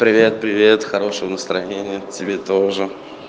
привет привет хорошего настроения тебе тоже